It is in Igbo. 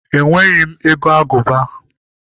Enweghị m ego agụba